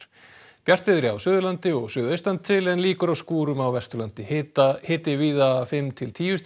bjartviðri á Suðurlandi og suðaustan til en líkur á skúrum á Vesturlandi hiti hiti víða fimm til tíu stig